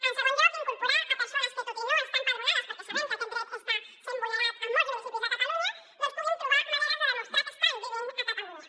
en segon lloc incorporar hi persones que tot i no estar empadronades perquè sabem que aquest dret està sent vulnerat en molts municipis de catalunya doncs puguin trobar maneres de demostrar que estan vivint a catalunya